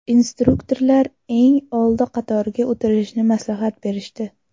Instruktorlar eng oldi qatorga o‘tirishni maslahat berishdi.